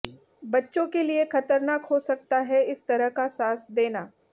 बच्चों के लिए खतरनाक हो सकता है इस तरह का सांस देना